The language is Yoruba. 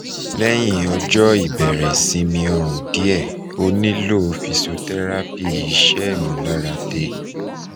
lehin ojo ibere isimi orun die onilo physiotherapy ise imularade